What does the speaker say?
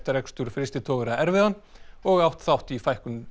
rekstur frystitogara erfiðan og átt þátt í fækkun